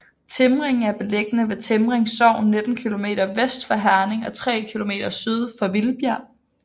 Timring er beliggende i Timring Sogn 19 kilometer vest for Herning og tre kilometer syd for Vildbjerg